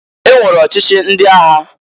E nwere ọchịchị ndị agha.